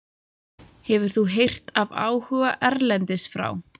Hefur þú heyrt af áhuga erlendis frá?